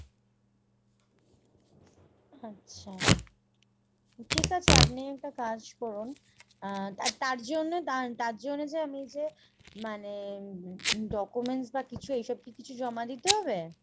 আচ্ছা। ঠিক আছে আপনি একটা কাজ করুন আহ তার জন্য তার জন্য যে আমি যে মানে documents বা কিছু এইসব কি কিছু জমা দিতে হবে ?